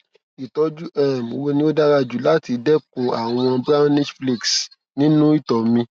ìtọjú um wo ni ó dára jù láti dẹkun àwọn brownish flakes nínú ito mi